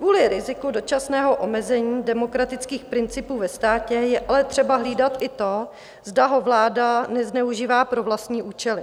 Kvůli riziku dočasného omezení demokratických principů ve státě je ale třeba hlídat i to, zda ho vláda nezneužívá pro vlastní účely.